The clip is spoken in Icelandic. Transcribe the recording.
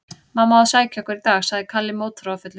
Mamma á að sækja okkur í dag, sagði Kalli mótþróafullur.